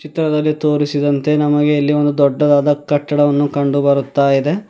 ಚಿತ್ರದಲ್ಲಿ ತೋರಿಸಿದಂತೆ ನಮಗೆ ಇಲ್ಲಿ ಒಂದು ದೊಡ್ಡದಾದ ಕಟ್ಟಡವನ್ನು ಕಂಡು ಬರುತ್ತಾ ಇದೆ.